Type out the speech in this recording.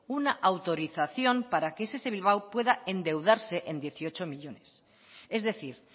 una autorización para que ess bilbao pueda endeudarse en dieciocho millónes es decir